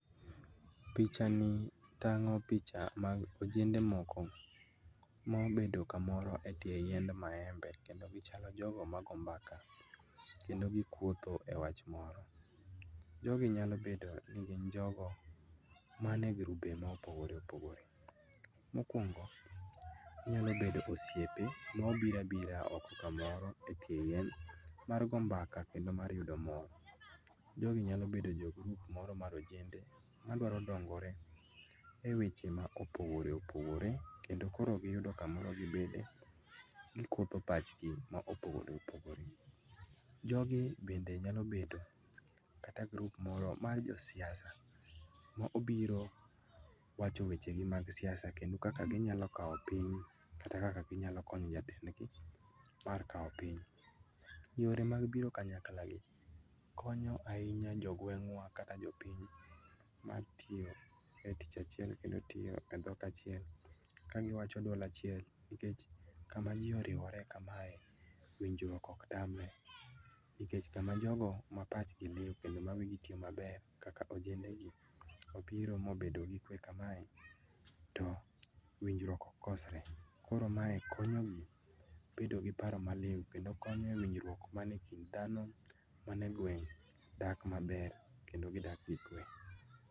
Pichani tang'o picha mag ojende moko maobedo kamoro e tie yiend maembe kendo gichalo jogo mago mbaka kendo gikuotho e wach moro. Jogi nyalobedo ni gin jogo mane grube mopogore opogore. Mokuongo nyalobedo osiepe ma obiro abira oko kamoro e tie yien mar goo mbaka kendo mar yudo mor. Jogi nyalo bedo jo grup moro mar ojende madwaro dongore e weche maopogore opogore kendo koro giyudo kamoro gibede gikuodho pachgi ma opogore opogore. Jogi bende nyalobedo kata grup moro ma josiasa ma obiro wacho wechegi mag siasa kendo kaka ginyalokao piny, kata kaka ginyalokonyo jatendgi mar kao piny. Yore mag biro kanyaklagi konyo ainya jogweng'wa kata jopiny matio e tich achiel kendo tiyo e dhok achiel ka giwacho duol achiel nikech kama jii oriwore kamae winjruok oktamre nikech kama jogo ma pachgi liu kendo ma wii gi tio maber kaka ojendegi obiro mobedo gi kue kamae to winjruok ok kosre koro mae konyogi bedo gi paro ma liu kendo konyo e winjruok mane kind dhano manegweng' dak maber kendo gidak gi kue.